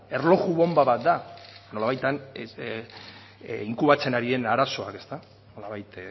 erloju bonba bat da nolabait han inkubatzen ari den arazoa nolabait